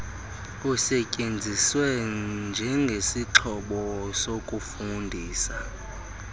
usetyenziswe njengesixhobo sokufundisa